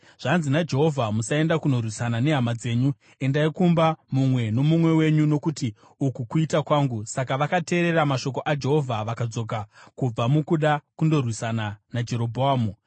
‘Zvanzi naJehovha: Musaenda kunorwisana nehama dzenyu; endai kumba, mumwe nomumwe wenyu, nokuti uku kuita kwangu.’ ” Saka vakateerera mashoko aJehovha vakadzoka kubva mukuda kundorwisana naJerobhoamu.